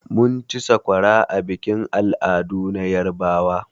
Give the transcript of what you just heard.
Mun ci sakwara a bikin al'adu na yarbawa.